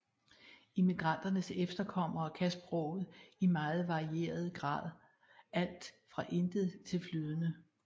Immigranternes efterkommere kan sproget i meget varierende grad alt fra intet til flydende